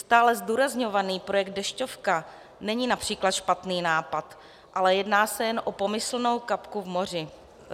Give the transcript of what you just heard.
Stále zdůrazňovaný projekt Dešťovka není například špatný nápad, ale jedná se jen o pomyslnou kapku v moři.